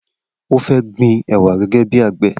O fẹ́ gbin ẹwà gẹ́gẹ́ bí àgbẹ̀.